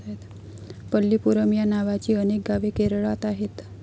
पल्लीपुरम या नावाची अनेक गावे केरळात आहेत.